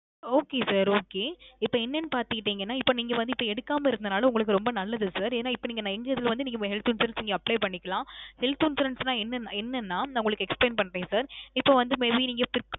Okay sir okay. இப்போ என்னனு பாத்துக்கிட்டிங்கனா இப்போ நீங்க வந்து இப்போ எடுக்காம இருந்தனால உங்களுக்கு ரொம்ப நல்லது sir. ஏன்னா இப்போ நீங்க young age ல வந்து health insurance நீங்க apply பண்ணிக்கலாம். health insurance னா ~ என்னனா நான் உங்களுக்கு explain பண்றேன் sir. இப்போ வந்து maybe நீங்க ~